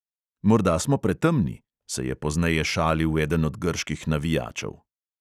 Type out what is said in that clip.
"Morda smo pretemni," se je pozneje šalil eden od grških navijačev.